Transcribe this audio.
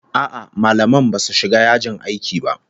A'a, mallaman basu shiga yajin aiki ba